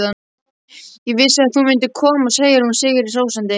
Ég vissi að þú myndir koma, segir hún sigri hrósandi.